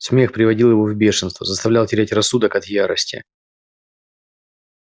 смех приводил его в бешенство заставлял терять рассудок от ярости